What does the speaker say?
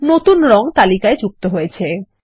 নতুন রঙ তালিকায় যুক্ত হয়েছে